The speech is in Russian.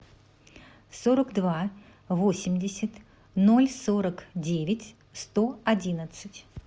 сорок два восемьдесят ноль сорок девять сто одиннадцать